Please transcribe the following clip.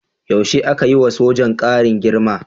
Yaushe aka yi wa sojan ƙarin girma?